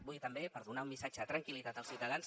vull també per donar un missatge de tranquil·litat als ciutadans